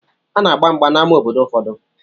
Ana-agba mgba n'amá obodo ụfọdụ.